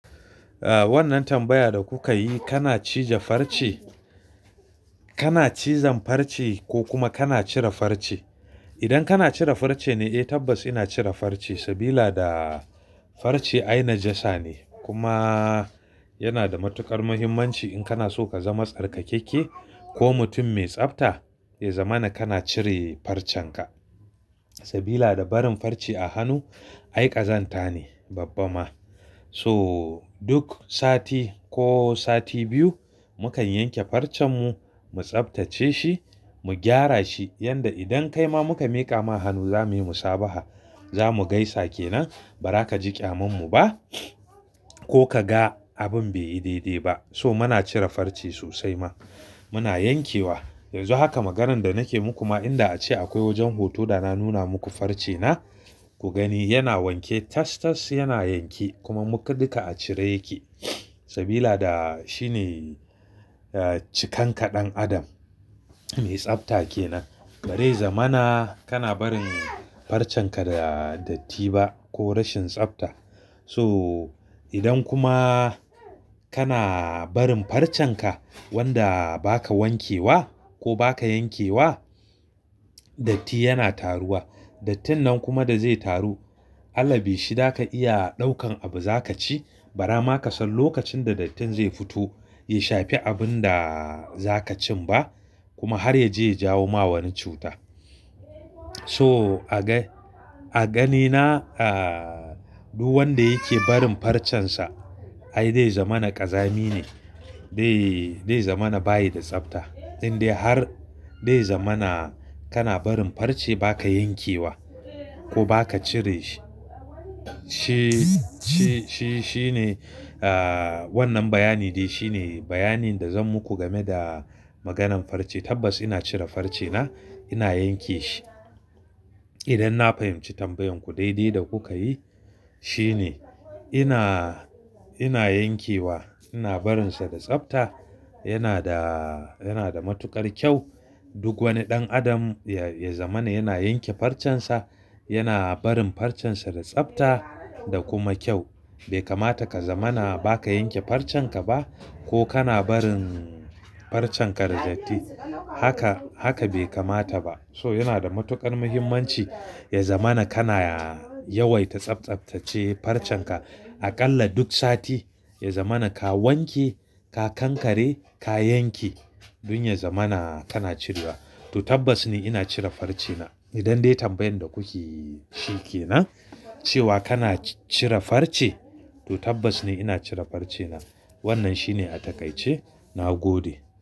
Ah, wannan tambaya da kuka yi, kana cije farce? Kana cizon farce ko kuma kana cire farce? Idan kana cire farce ne, eh tabbas ina cire farce. Sabida farce ai najasa ne kuma yana da matuƙar muhimmanci in kana so ka zama tsarkakakke ko mutum mai tsafta. Ya zamana kana cire farcenka. Sabida barin farce a hannu, ai ƙazanta ne babba ma. So duk sati ko sati biyu, mukan yanke farcen mu, mu tsaftace shi, mu gyara shi. Yanda idan kai ma muka miƙa ma hannu za muyi musabaha. Za mu gaisa kenan ba za ka ji ƙyamammu ba ko ka ga abin bai yi daidai ba. So muna cire farce sosai ma. Muna yankewa. Yanzu haka maganar da nike muku ma inda ace akwai wajen huto da na nuna muku farce na. Ku gani yana wanke tas-tas yana yanke kuma muƙa duka a cire yake. Sabida shine, ah, cikanka ɗan adam mai tsafta kenan. Bazai zamana kana barin farcenka da datti ba ko rashin tsafta. So idan kuma kana barin farcenka wanda ba ka wankewa ko ba ka yankewa, datti yana taruwa. Dattin nan kuma da zai taru, allabi shi za ka iya ɗaukan abu za ka ci. Bara ma ka san lokacin da dattin zai fito, ya shafi abun da za ka cin ba kuma har ya je ya jawo ma wani cuta. So a ga-a ganina, ah, duk wanda yake barin farcensa, ai dai zamana ƙazami ne. Zai zamana bayi da tsafta. Indai har dai zamana kana barin farce ba ka yankewa ko ba ka cire shi, shi-shi shine, ah, wannan bayani dai shine bayanin da zan muku game da maganan farce. Tabbas ina cire farce na, ina yanke shi. Idan na fahimci tambayan ku daidai da kuka yi. Shine ina, ina yankewa, ina barinsa da tsafta. Yana da, yana da matuƙar kyau. Duk wani ɗan adam ya zamana yana yanke farcen sa, yana barin farcen sa da tsafta da kuma kyau. Bai kamata ka zamana ba ka yanke farcen ka ba ko kana barin farcen ka da datti. Haka, haka bai kamata ba. So yana da matuƙar muhimmanci. Ya zamana kana ya waita tsaftsaftace farcen ka. Aƙalla duk sati, ya zamana ka wanke, ka kankare, ka yanke. Don ya zamana kana cirewa. To tabbas ni ina cire farce na. Idan dai tambayan da kuke shi kenan, cewa kana cire farce, to tabbas ne ina cire farce na. Wannan shine a takaice. Na gode.